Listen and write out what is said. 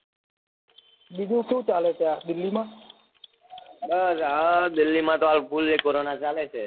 બીજું શું ચાલે ત્યાં દિલ્હી માં બસ દિલ્હી માં તો હાલ fully કોરોના ચાલે